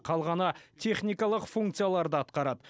қалғаны техникалық функцияларды атқарады